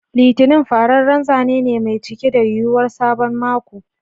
Litinin fararren zane ne mai cike da yuwuwar sabon mako.